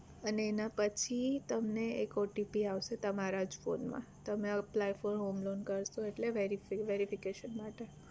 અને એના પછી તમને એક OTP આવશે તમારા જ ફોન માં તમે apply for homeloan કરશો એટલે વેરી verification માટે